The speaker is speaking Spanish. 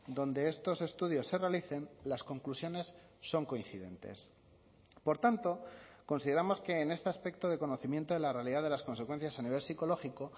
donde estos estudios se realicen las conclusiones son coincidentes por tanto consideramos que en este aspecto de conocimiento de la realidad de las consecuencias a nivel psicológico